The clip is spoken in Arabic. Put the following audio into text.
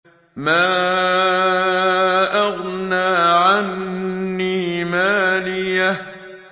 مَا أَغْنَىٰ عَنِّي مَالِيَهْ ۜ